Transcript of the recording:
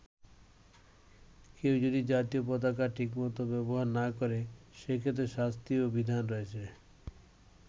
কেউ যদি জাতীয় পতাকা ঠিকমতো ব্যবহার না করে, সেক্ষেত্রে শাস্তিরও বিধান রয়েছে।